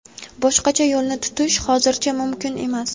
Boshqacha yo‘lni tutish hozircha mumkin emas.